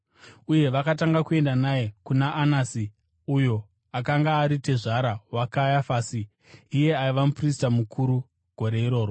Uye vakatanga kuenda naye kuna Anasi, uyo akanga ari tezvara waKayafasi, iye aiva muprista mukuru gore iroro.